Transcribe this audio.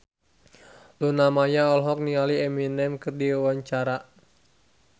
Luna Maya olohok ningali Eminem keur diwawancara